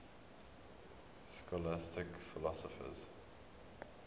scholastic philosophers